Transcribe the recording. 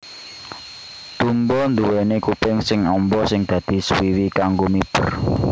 Dumbo nduwèni kuping sing amba sing dadi swiwi kanggo miber